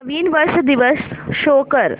नवीन वर्ष दिवस शो कर